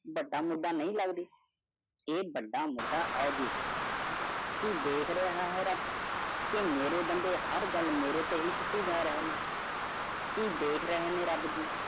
ਖਹਿਰਾਪਰਗਟ ਹੋ ਕਰ ਨੂਰ ਸਦਾਇਉਡੁੱਬ ਰਹੇ ਨੂੰ ਰੱਬ ਦੀ